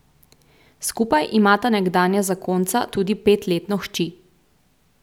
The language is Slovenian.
Skupaj imata nekdanja zakonca tudi petletno hči.